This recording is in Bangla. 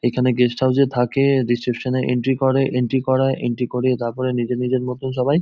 এখানে গেস্ট হাউস এ থাকেএএএ রিসেপশন এ এন্ট্রি করে এন্ট্রি করায় এন্ট্রি করিয়ে তারপরে নিজের নিজের মতন সবাই--